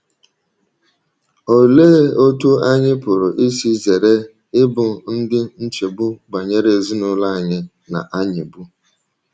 Olee otú anyị pụrụ isi zere ịbụ ndị nchegbu banyere ezinụlọ anyị na - anyịgbu?